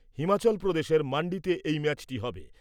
হিমাচল প্রদেশের মান্ডিতে এই ম্যাচটি হবে ।